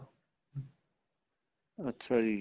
ਅੱਛਾ ਜੀ